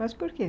Mas por quê?